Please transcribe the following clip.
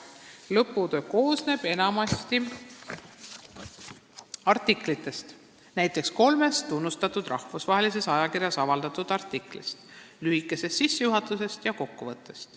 Lõputöö koosneb enamasti artiklitest, näiteks kolmest tunnustatud rahvusvahelises ajakirjas avaldatud artiklist, lühikesest sissejuhatusest ja kokkuvõttest.